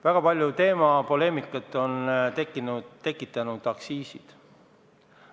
Väga palju poleemikat on tekitanud aktsiisid.